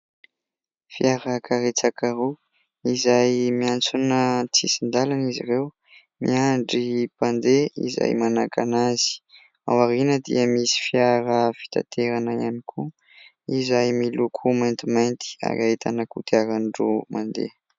Fiarakaretsaka roa izay miantsona antsisin-dalana izy ireo, miandry mpandeha izay manakana azy. Ao aoriana dia misy fiara fitanterana ihany koa izay miloko maintimainty ary ahitana kodiarandroa mandeha.